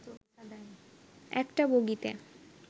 একটা বগিতে